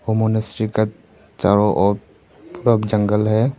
ओ का चारों ओर पुरा जंगल हैं।